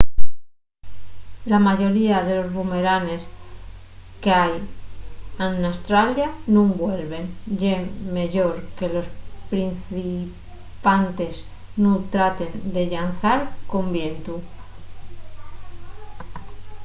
la mayoría de los bumeranes qu’hai n’australia nun vuelven. ye meyor que los principantes nun traten de llanzar con vientu